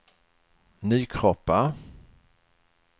Nykroppa